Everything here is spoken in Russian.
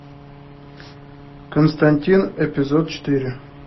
константин эпизод четыре